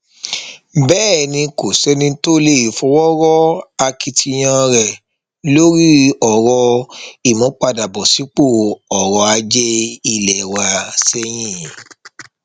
bẹẹ ni kò sẹni tó lè fọwọ rọ akitiyan rẹ lórí ọrọ ìmúpadàbọ sípò ọrọ ajé ilé wa sẹyìn